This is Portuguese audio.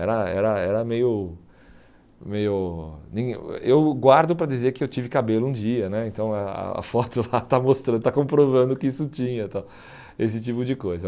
Era era era meio meio... Eu guardo para dizer que eu tive cabelo um dia né, então a a foto lá está mostrando, está comprovando que isso tinha tal, esse tipo de coisa.